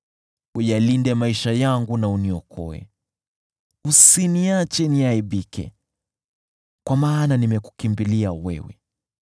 Uyalinde maisha yangu na uniokoe, usiniache niaibike, kwa maana nimekukimbilia wewe.